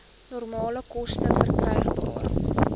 nominale koste verkrygbaar